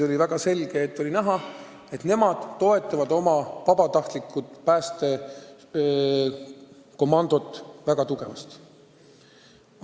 Oli selgelt näha, et nad toetavad oma vabatahtlikku päästekomandot väga tugevasti.